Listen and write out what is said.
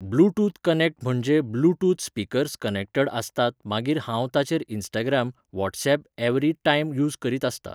Bluetooth connect म्हणजे म्हजे bluetooth speakers connected आसतात मागीर हांव ताचेर Instagram, WhatsApp every time use करीत आसतां.